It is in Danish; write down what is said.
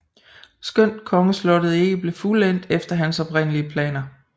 Skønt kongeslottet ikke blev fuldendt efter hans oprindelige planer